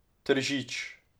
Tržič.